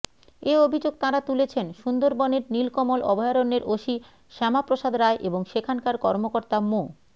এ অভিযোগ তাঁরা তুলেছেন সুন্দরবনের নীলকমল অভয়ারণ্যের ওসি শ্যামা প্রসাদ রায় এবং সেখানকার কর্মকর্তা মো